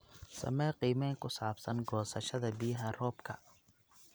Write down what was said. Samee qiimeyn ku saabsan goosashada biyaha roobka.